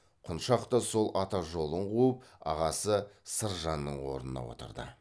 құншақ та сол ата жолын қуып ағасы сыржанның орнына отырды